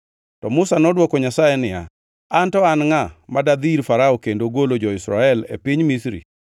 To Musa nodwoko Nyasaye niya, “An to an ngʼa, ma dadhi ir Farao kendo golo jo-Israel e piny Misri?”